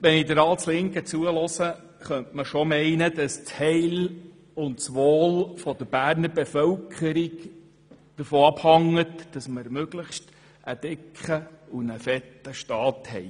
Wenn man nun der Ratslinken zuhört, könnte man meinen, dass das Wohl der Berner Bevölkerung davon abhängt, dass wir einen möglichst fetten Staat haben.